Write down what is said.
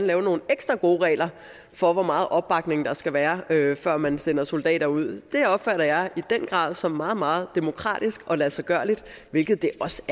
lave nogle ekstra gode regler for hvor meget opbakning der skal være før man sender soldater ud opfatter jeg i den grad som meget meget demokratisk og ladsiggørligt hvilket det også